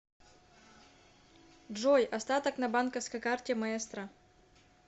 джой остаток на банковской карте маэстро